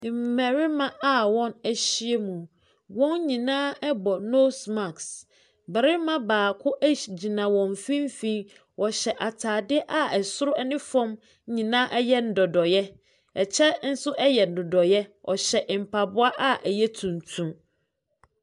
Mmarima a wɔahyiam. Wɔn nyinaa bɔ nose mask. Barima baako ehy gyina wɔn mfimfini. Ɔhyɛ atade a soro ne fam nyinaa yɛ dɔdɔeɛ. Ɛkyɛ nso yɛ dɔdɔeɛ. Ɔhyɛ mpaboa a ɛyɛ tuntum.